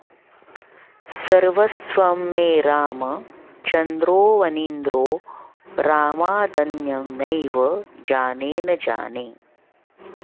सर्वस्वं मे रामचन्द्रोऽवनीन्द्रो रामादन्यं नैव जाने न जाने